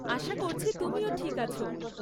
আশা করছি তুমিও ঠিক আছ।